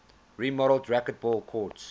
remodeled racquetball courts